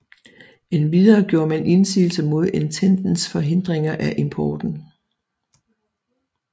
Endvidere gjorde man indsigelse mod Ententens forhindringer af importen